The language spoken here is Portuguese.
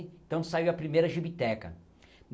Então saiu a primeira gibiteca.